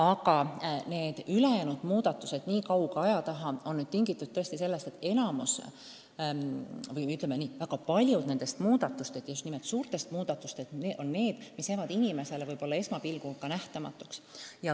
Aga ülejäänud muudatused nihkuvad tõesti kauge aja taha ning see on tingitud sellest, et paljud nendest muudatustest, ja just nimelt suurtest muudatustest on niisugused, mis jäävad inimesele esmapilgul ehk nähtamatuks.